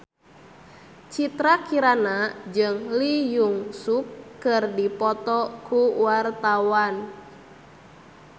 Citra Kirana jeung Lee Jeong Suk keur dipoto ku wartawan